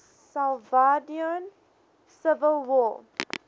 salvadoran civil war